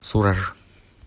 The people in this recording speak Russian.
сураж